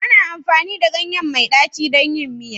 Ana amfani da ganye mai ɗaci don yin miya